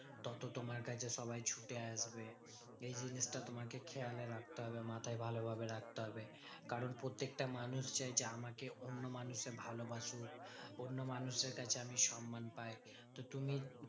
তত তোমার কাছে সবাই ছুটে আসবে। এই জিনিসটা তোমাকে খেয়ালে রাখতে হবে মাথায় ভালোভাবে রাখতে হবে। কারণ প্রত্যেকটা মানুষ চাইছে আমাকে অন্য মানুষে ভালো বাসুক। অন্য মানুষদের কাছে আমি সন্মান পাই। তো তুমি